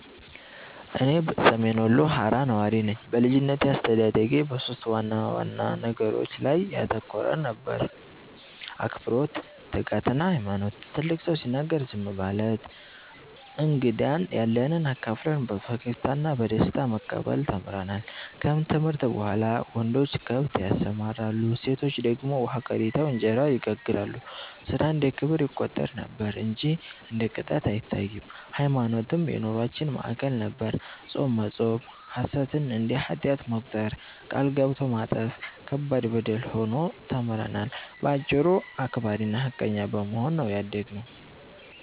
እኔ ሰሜን ወሎ ሃራ ነዋሪ ነኝ። በልጅነቴ አስተዳደጌ በሦስት ዋና ነገሮች ላይ ያተኮረ ነበር፤ አክብሮት፣ ትጋትና ሃይማኖት። ትልቅ ሰው ሲናገር ዝም ማለት፣ እንግዳን ያለንብ አካፍለን በፈገግታ እና በደስታ መቀበል ተምረናል። ከትምህርት በኋላ ወንዶች ከብት ያሰማራሉ፣ ሴቶች ደግሞ ውሃ ቀድተው እንጀራ ይጋግራሉ፤ ሥራ እንደ ክብር ይቆጠር ነበር እንጂ እንደ ቅጣት አይታይም። ሃይማኖትም የኑሮአችን ማዕከል ነበር፤ ጾም መጾም፣ ሐሰትን እንደ ኃጢአት መቁጠር፣ ቃል ገብቶ ማጠፍ ከባድ በደል ሆኖ ተምረናል። በአጭሩ አክባሪና ሃቀኛ በመሆን ነው ያደግነው።